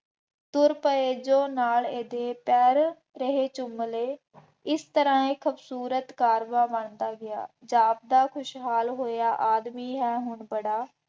ਤੁਰ ਪਏ ਜੋ ਨਾਲ ਇਹਦੇ ਪੈਰ ਤੇਹੇ ਚੁੰਮ ਲਏ, ਇਸ ਤਰ੍ਹਾਂ ਇਹ ਖੂਬਸੂਰਤ ਕਾਰਵਾਂ ਬਣਦਾ ਗਿਆ। ਜ਼ਾਬਤਾ ਖੁਸ਼ਹਾਲ ਹੋਇਆ ਆਦਮੀ ਹੈ ਹੁਣ ਬੜਾ